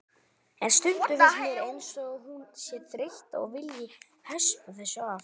En stundum finnst mér eins og hún sé þreytt og vilji hespa þessu af.